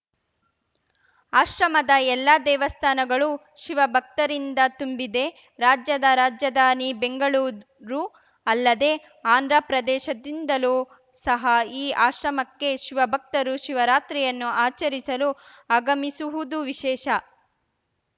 ಆಶ್ರಮದ ಎಲ್ಲಾ ದೇವಸ್ಥಾನಗಳು ಶಿವ ಭಕ್ತರಿಂದ ತುಂಬಿದೆ ರಾಜ್ಯದ ರಾಜ್ಯದಾನಿ ಬೆಂಗಳೂರು ಅಲ್ಲದೆ ಆಂದ್ರ ಪ್ರದೇಶದಿಂದಲೂ ಸಹ ಈ ಆಶ್ರಮಕ್ಕೆ ಶಿವ ಭಕ್ತರು ಶಿವರಾತ್ರಿಯನ್ನು ಆಚರಿಸಲು ಆಗಮಿಸುವುದು ವಿಶೇಷ